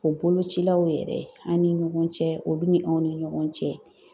O bolocilaw yɛrɛ an' ni ɲɔgɔn cɛ olu ni anw ni ɲɔgɔn cɛ